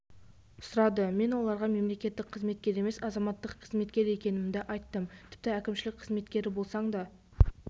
сұрады мен оларға мемлекеттік қызметкер емес азаматтық қызметкер екендігімді айттым тіпті әкімшілік қызметкері болсаң да